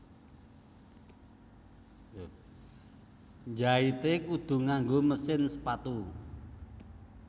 Njaite kudu nganggo mesin sepatu